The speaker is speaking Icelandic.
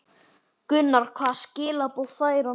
Gunnar: Hvaða skilaboð fær hann?